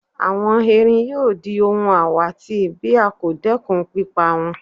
Àwọn erin yóò di ohun àwátì bí a kò dẹ́kun pípa wọ́n.